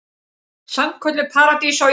Sannkölluð paradís á jörðu.